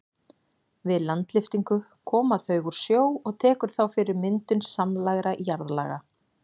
Við landlyftingu koma þau úr sjó og tekur þá fyrir myndun samlægra jarðlaga.